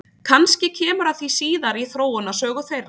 Kannski kemur að því síðar í þróunarsögu þeirra?